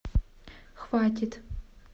хватит